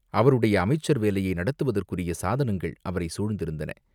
அவருடைய அமைச்சர் வேலையை நடத்துவதற்குரிய சாதனங்கள் அவரைச் சூழ்ந்திருந்தன.